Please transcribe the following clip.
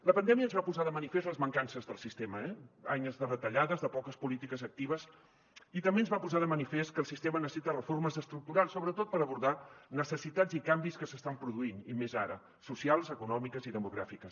la pandèmia ens va posar de manifest les mancances del sistema eh anys de retallades de poques polítiques actives i també ens va posar de manifest que el sistema necessita reformes estructurals sobretot per abordar necessitats i canvis que s’estan produint i més ara socials econòmiques i demogràfiques